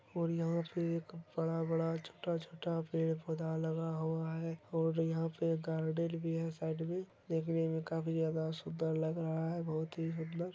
और यहा पे बड़ा-बड़ा छोटा-छोटा पेड़-पोधा लगा हुआ है और यहा पे गार्डन भी है साइड मे देखने मे काफी ज्यादा सुधार लग रहा है बोहोत ही सुन्दर।